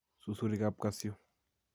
Susurikap kasyu